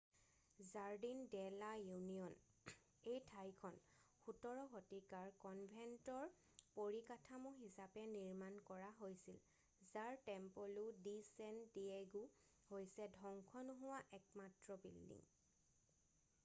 Jardin de la Union এই ঠাইখন 17 শতিকাৰ কনভেণ্টৰ পৰিকাঠামো হিচাপে নিৰ্মান কৰা হৈছিল যাৰ টেম্পলো ডি ছেন ডিয়েগো হৈছে ধ্বংস নোহোৱা একমাত্ৰ বিল্ডিং